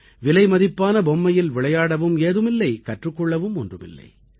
விலைமதிப்பான பொம்மையில் விளையாடவும் ஏதுமில்லை கற்றுக் கொள்ளவும் ஒன்றுமில்லை